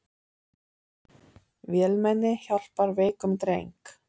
Vélmenni hjálpar veikum dreng